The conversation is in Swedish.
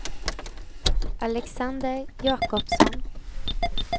Alexander Jacobsson